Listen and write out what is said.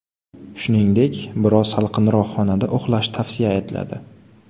Shuningdek, biroz salqinroq xonada uxlash tavsiya etiladi.